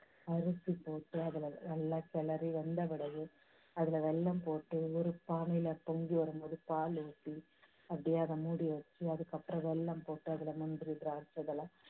அரிசி போட்டு, அதுல நல்லா கிளறி, வெந்த பிறகு அதுல வெல்லம் போட்டு ஒரு பானையில பொங்கி வரும்போது பால் ஊத்தி, அப்படியே அதை மூடி வெச்சு, அத்துக்கப்புறம் அதுல வெல்லம் போட்டு அதுல மஞ்சள், திராட்சை இதெல்லாம்